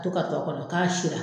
to ka tɔ kɔnɔ k'a sira.